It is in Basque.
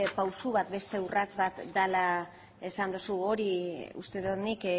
pausu bat beste urrats bat dela esan duzu hori uste dut nik